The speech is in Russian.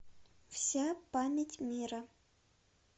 вся память мира